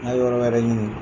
N ka yɔrɔ wɛrɛ ɲini